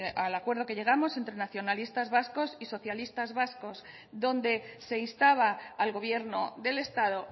al acuerdo que llegamos entre nacionalistas vascos y socialistas vascos donde se instaba al gobierno del estado